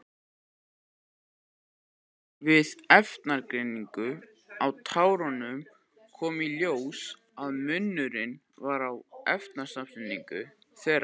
Við efnagreiningu á tárunum kom í ljós að munur var á efnasamsetningu þeirra.